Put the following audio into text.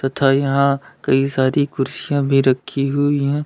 तथा यहां कई सारी कुर्सियां भी रखी हुई हैं।